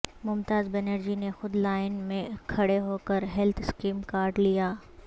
ممتا بنرجی نے خود لائن میں کھڑے ہوکر ہیلتھ اسکیم کارڈ لیا